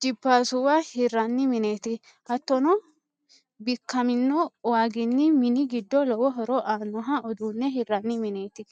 jipaasuwa hirranni mineti. hattonni bikkamino waaginni mini giddo lowo horo aanno uduunne hirranni mineti.